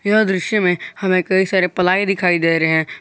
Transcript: यह दृश्य में हमें कई सारे प्लाई दिखाई दे रहे हैं।